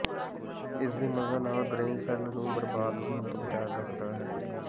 ਇਸ ਦੀ ਮਦਦ ਨਾਲ ਬ੍ਰੇਨ ਸੈੱਲ ਨੂੰ ਬਰਬਾਦ ਹੋਣ ਤੋਂ ਬਚਾਇਆ ਜਾ ਸਕਦਾ ਹੈ